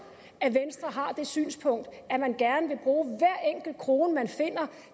at venstre har det synspunkt at man gerne vil bruge hver enkelt krone man finder